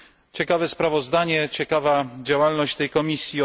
Ciekawe sprawozdanie, ciekawa działalność tej komisji.